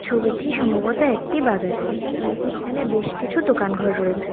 ছবিটি সম্ভবত একটি বাজারের এখানে বেশ কিছু দোকান ঘর রয়েছে।